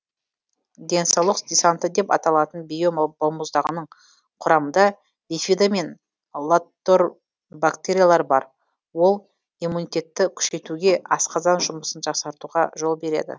денсаулық десанты деп аталатын био балмұздағының құрамында бифидо мен латор бактериялар бар ол иммунитетті күшейтуге асқазан жұмысын жақсартуға жол береді